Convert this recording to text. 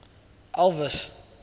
elvis